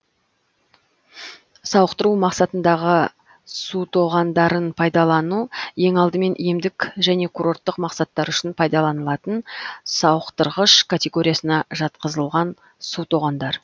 сауықтыру мақсатындағы сутоғандарын пайдалану ең алдымен емдік және курорттық мақсаттар үшін пайдаланылатын сауықтырғыш категориясына жатқызылған сутоғандар